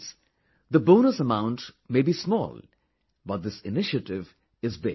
Friends, the bonus amount may be small but this initiative is big